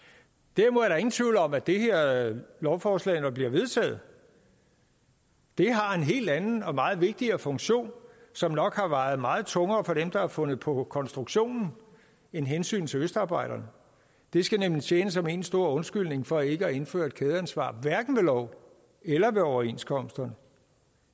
derimod er der ingen tvivl om at det her lovforslag når det bliver vedtaget har en helt anden og meget vigtigere funktion som nok har vejet meget tungere for dem der har fundet på konstruktionen end hensynet til østarbejderne det skal nemlig tjene som én stor undskyldning for ikke at indføre et kædeansvar hverken ved lov eller ved overenskomsterne